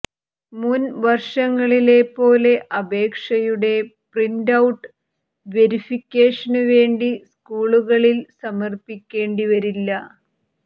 മുൻ വർഷങ്ങളിലെപ്പോലെ അപേക്ഷയുടെ പ്രിന്റൌട്ട് വെരിഫിക്കേഷനു വേണ്ടി സ്കൂളുകളിൽ സമർപ്പിക്കേണ്ടി വരില്ല